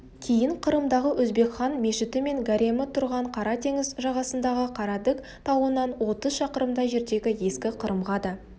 кейін қырымдағы өзбекхан мешіті мен гаремі тұрған қара теңіз жағасындағы қара-даг тауынан отыз шақырымдай жердегі ескі қырымға да